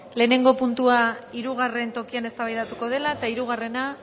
lehenengo puntua hirugarren tokian eztabaidatuko dela eta hirugarrena